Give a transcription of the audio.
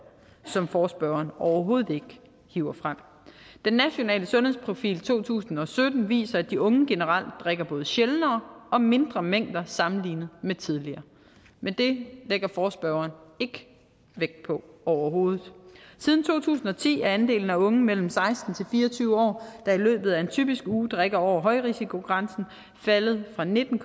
som forespørgeren overhovedet ikke hiver frem den nationale sundhedsprofil to tusind og sytten viser at de unge generelt drikker både sjældnere og mindre mængder sammenlignet med tidligere men det lægger forespørgerne ikke vægt på overhovedet siden to tusind og ti er andelen af unge mellem seksten og fire og tyve år der i løbet af en typisk uge drikker over højrisikogrænsen faldet fra nitten